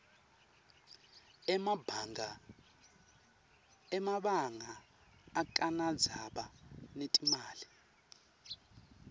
emabanga akanadzaba netimali